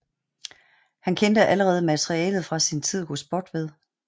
Han kendte allerede materialet fra sin tid hos Botved